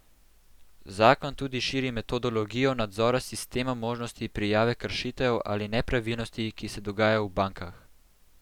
Zakon tudi širi metodologijo nadzora s sistemom možnosti prijave kršitev ali nepravilnosti, ki se dogajajo v bankah.